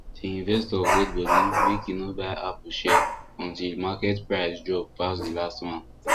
di investor hold body make e no buy apple share until market price drop pass the last one